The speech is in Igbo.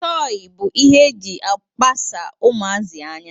Tọị bụ ihe e ji akpasa ụmụazi anya